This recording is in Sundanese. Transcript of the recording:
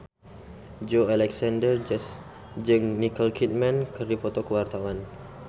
Joey Alexander jeung Nicole Kidman keur dipoto ku wartawan